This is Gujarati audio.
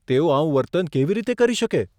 તેઓ આવું વર્તન કેવી રીતે કરી શકે?